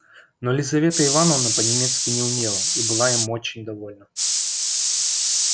но лизавета ивановна по-немецки не умела и была очень им довольна